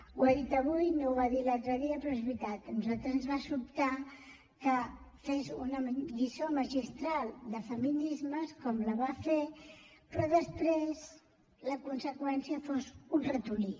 ho ha dit avui no ho va dir l’altre dia però és veritat a nosaltres ens va sobtar que fes una lliçó magistral de feminismes com la va fer però després la conseqüència en fos un ratolí